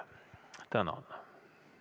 Tänan!